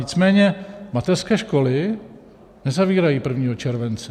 Nicméně mateřské školy nezavírají 1. července.